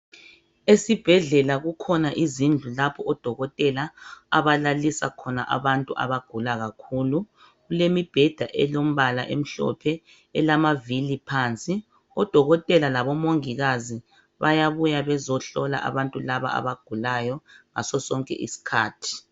Esibhedlela kukhona izindlu lapho odokotela abalalisa khona abantu abagula kakhulu. Kulombheda olombala omihlophe elamavili phansi. O dokotela labo mongikazi bayabuya bezohlola abantu laba abagulayo ngaso sonke isikhathi